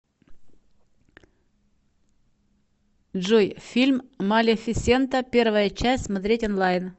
джой фильм малефисента первая часть смотреть онлайн